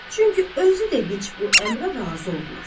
Çünki özü də heç bu əmrə razı olmaz.